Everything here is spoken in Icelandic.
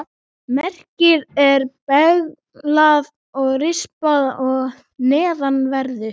Merkið er beyglað og rispað að neðanverðu.